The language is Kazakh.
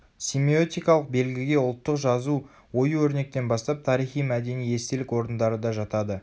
семиотикалық белгіге ұлттық жазу ою-өрнектен бастап тарихи мәдени естелік орындары да жатады